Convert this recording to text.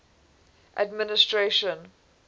administration